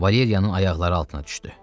Valeriyanın ayaqları altına düşdü.